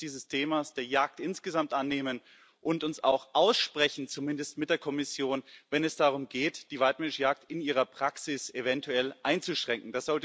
Wir müssen uns des Themas der Jagd insgesamt annehmen und uns auch aussprechen, zumindest mit der Kommission, wenn es darum geht, die waidmännische Jagd in ihrer Praxis eventuell einzuschränken.